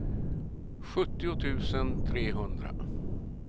sjuttio tusen trehundra